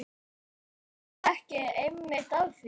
Ertu ekki einmitt að því?